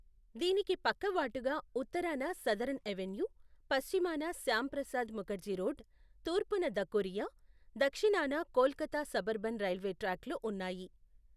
దీనికి పక్కవాటుగా ఉత్తరాన సదరన్ అవెన్యూ, పశ్చిమాన శ్యామప్రసాద్ ముఖర్జీ రోడ్, తూర్పున ధకురియా, దక్షిణాన కోల్కతా సబర్బన్ రైల్వే ట్రాక్లు ఉన్నాయి.